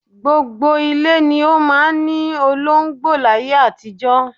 Gbogbo ilé ni ó máa ń ní olóńgbò láyé àtijọ́